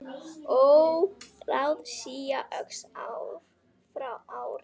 Óráðsía óx ár frá ári.